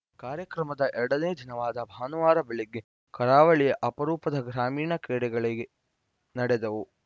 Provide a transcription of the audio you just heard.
ಕಾರ್ಯಕ್ರಮದ ಎರಡನೇ ದಿನವಾದ ಭಾನುವಾರ ಬೆಳಿಗ್ಗೆ ಕರಾವಳಿಯ ಅಪರೂಪದ ಗ್ರಾಮೀಣ ಕ್ರೀಡೆಗಳಿಗೆ ನಡೆದವು